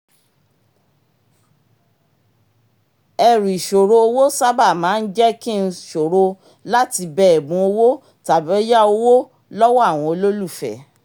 ẹrù ìṣòro owó sábà máa ń jẹ́ kí n ṣòro láti bẹ ẹ̀bùn owó tàbí yá owó lọ́wọ́ àwọn olólùfẹ́